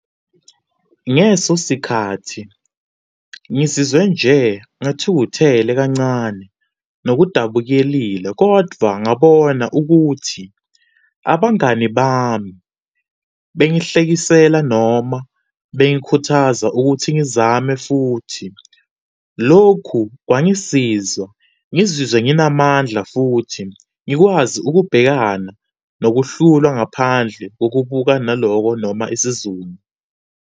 Ngeso sikhathi ngizizwe nje ngathukuthele kancane nokudabukelile kodvwa ngabona ukuthi abangani bami bengihlekisela noma bengikhuthaza ukuthi ngizame futhi. Lokhu kwangisizwa ngizizwe nginamandla futhi ngikwazi ukubhekana nokuhlulwa ngaphandle kokubukanaloko noma isiZulu.